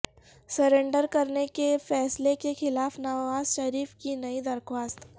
surrender کرنے کے فیصلے کے خلاف نوازشریف کی نئی درخواست